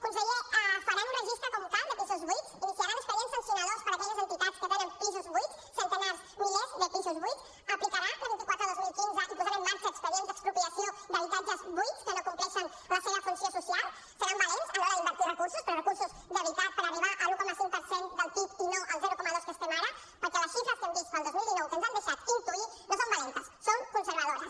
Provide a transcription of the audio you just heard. conseller faran un registre com cal de pisos buits iniciaran expedients sancionadors per a aquelles entitats que tenen pisos buits centenars milers de pisos buits aplicarà la vint quatre dos mil quinze i posarà en marxa expedients d’expropiació d’habitatges buits que no compleixen la seva funció social seran valents a l’hora d’invertir recursos però recursos de veritat per arribar a l’un coma cinc per cent del pib i no al zero coma dos que estem ara perquè les xifres que hem vist per al dos mil dinou que ens han deixat intuir no són valentes són conservadores